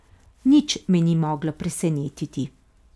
Nič me ni moglo presenetiti.